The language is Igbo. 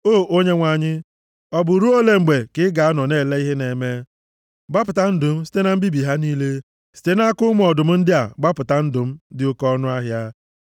O Onyenwe anyị, ọ bụ ruo ole mgbe ka ị ga-anọ na-ele ihe na-eme? Gbapụta ndụ m site na mbibi ha niile, site nʼaka ụmụ ọdụm ndị a, gbapụta ndụ m dị oke ọnụahịa.